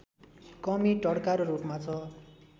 कमी टड्कारो रूपमा छ